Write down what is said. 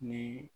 Ni